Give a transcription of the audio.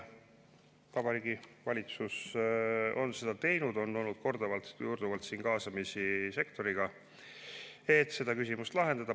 Vabariigi Valitsus on seda teinud, on olnud korduvalt sektori kaasamist, et seda küsimust lahendada.